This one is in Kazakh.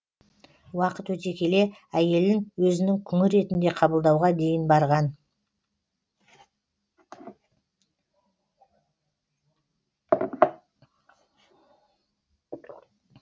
уақыт өте келе әйелін өзінің күңі ретінде қабылдауға дейін барған